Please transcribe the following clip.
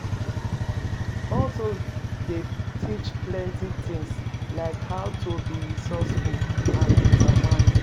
Hustle dey teach plenty tings, like how to be resourceful and determined.